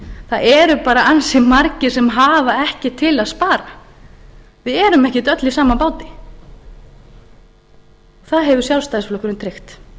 það eru bara ansi margir sem hafa ekkert til að spara við erum ekki öll í sama báti það hefur sjálfstæðisflokkurinn tryggt